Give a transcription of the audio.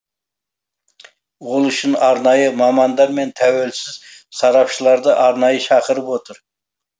ол үшін арнайы мамандар мен тәуелсіз сарапшыларды арнайы шақырып отыр